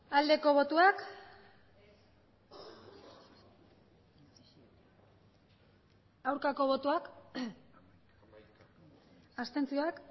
aldeko botoak aurkako botoak abstentzioak